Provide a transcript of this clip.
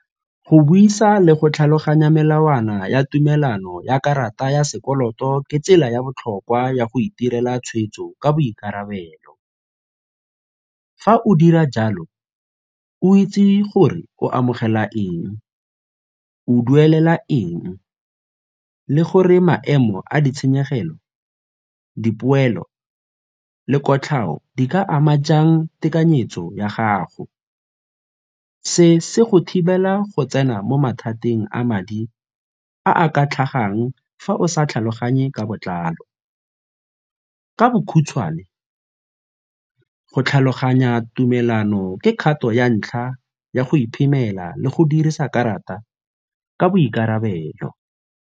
Go buisa le go tlhaloganya melawana ya tumelano ya karata ya sekoloto ke tsela ya botlhokwa ya go itirela tshweetso ka boikarabelo. Fa o dira jalo, o itse gore o amogela eng, o duelela eng le gore maemo a ditshenyegelo, dipoelo le kotlhao di ka ama jang tekanyetso ya gago? Se se go thibela go tsena mo mathateng a madi a a ka tlhagang fa o sa tlhaloganye ka botlalo. Ka bokhutshwane, go tlhaloganya tumelano ke kgato ya ntlha ya go iphemela le go dirisa karata ka boikarabelo.